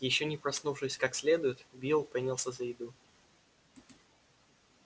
ещё не проснувшись как следует билл принялся за еду